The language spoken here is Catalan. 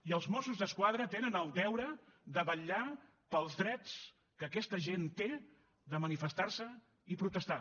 i els mossos d’esquadra tenen el deure de vetllar pels drets que aquesta gent té de manifestarse i protestar